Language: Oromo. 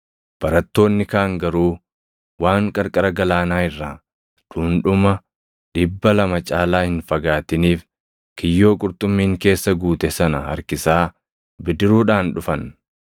Barattoonni kaan garuu waan qarqara galaanaa irraa dhundhuma dhibba lama caalaa hin fagaatiniif kiyyoo qurxummiin keessa guute sana harkisaa bidiruudhaan dhufan.